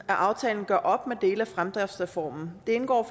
at aftalen gør op med dele af fremdriftsreformen det indgår